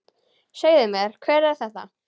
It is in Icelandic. Segðu mér, hver er þetta?